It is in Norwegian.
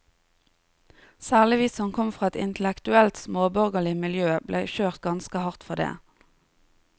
Særlig vi som kom fra et intellektuelt småborgerlig miljø ble kjørt ganske hardt for det.